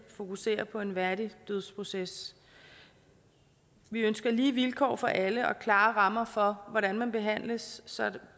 fokuserer på en værdig dødsproces vi ønsker lige vilkår for alle og klare rammer for hvordan man behandles så